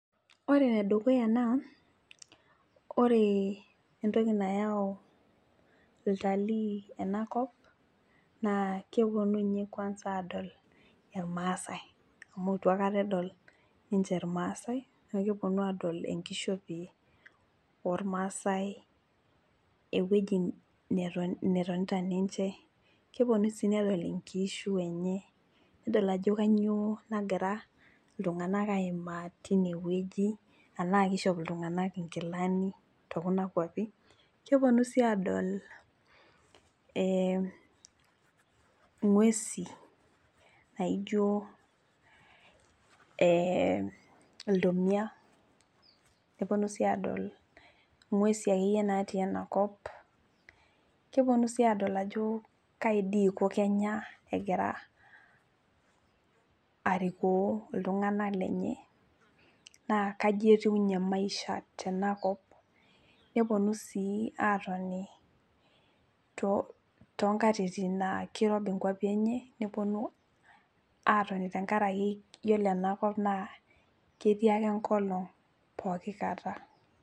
Ore enedukuya naa ore entoki nayau iltalii enakop naa keponu inye kwanz adol ilrmaasae amu itu aekata edol ninche irmaasae niaku keponu adol enkishopie ormaasae ewueji neton, netonita ninche keponu sii nedol inkishu enye nedol ajo kanyio nagira iltung'anak aimaa tinewueji anaa kishop iltung'anak inkilani tokuna kuapi keponu sii adol eh ing'uesi naijio eh iltomia neponu sii adol ing'uesi akeyie natii enakop keponu sii adol ajo kai dii iko kenya egira arikoo iltung'anak lenye naa kaji etiu inye maisha tenakop neponu sii atoni too tonkatitin naa kirobi nkuapi enye neponu atoni tenkarake yiolo enakop naa ketii ake enkolong poki kata.